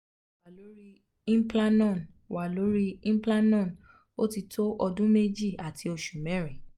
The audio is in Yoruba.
moti wa lori implanon wa lori implanon otito odun meji um ati osu merin